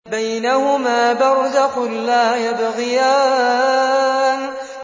بَيْنَهُمَا بَرْزَخٌ لَّا يَبْغِيَانِ